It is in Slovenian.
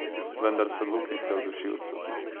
Vendar so luknjice v dušilcu.